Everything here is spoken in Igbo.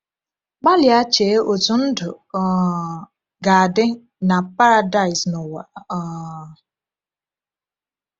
Gbalịa chee otú ndụ um ga-adị na Paradaịs n’ụwa. um